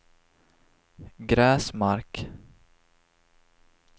Gräsmark